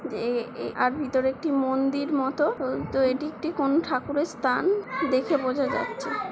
যে এ এ আর ভিতরে একটি মন্দির মতো। তো এটি একটি কোনো ঠাকুরের স্থান দেখে বোঝা যাচ্ছে।